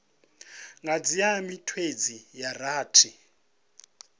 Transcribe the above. nga dzhia miṅwedzi ya rathi